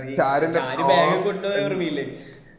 ഷാരു bag കൊണ്ടോയ ഓർമ ഇല്ലേ